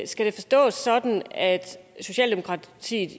skal det forstås sådan at socialdemokratiet